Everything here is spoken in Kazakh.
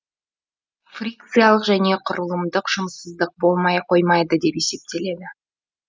фрикциялық және құрылымдық жұмыссыздық болмай қоймайды деп есептеледі